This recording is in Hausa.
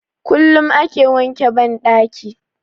Kullum ake wanke Banɗaki.